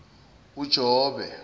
ujobe